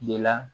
De la